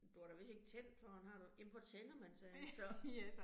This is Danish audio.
Du har da vist ikke tændt for den har du, jamen hvor tænder man den så?